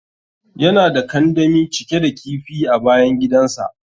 Yana da kandami cike da kifi a bayan gidan sa.